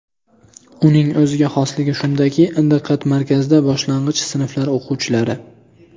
Uning o‘ziga xosligi shundaki, diqqat markazida boshlang‘ich sinflar o‘quvchilari.